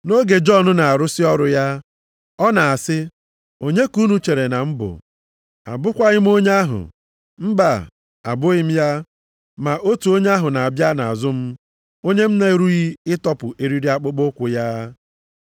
Nʼoge Jọn na-arụsị ọrụ ya, ọ na-asị, ‘Onye ka unu chere na m bụ? Abụkwaghị m onye ahụ. Mba! Abụghị m ya. Ma otu onye ahụ na-abịa nʼazụ m, onye m na-erughị ịtọpụ eriri akpụkpọụkwụ ya.’